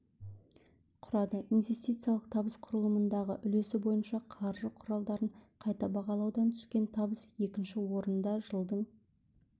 құрады инвестициялық табыс құрылымындағы үлесі бойынша қаржы құралдарын қайта бағалаудан түскен табыс екінші орында жылдың